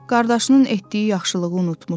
Qardaşının etdiyi yaxşılığı unutmuşdu.